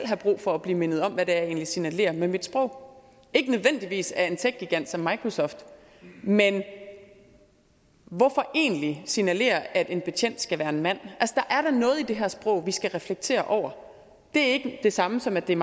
have brug for at blive mindet om hvad det egentlig er jeg signalerer med mit sprog ikke nødvendigvis af en techgigant som microsoft men hvorfor egentlig signalere at en betjent skal være en mand der er da noget i det her sprog vi skal reflektere over det er ikke det samme som at det er